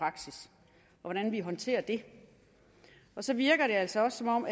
hvordan vi håndterer det så virker det altså også som om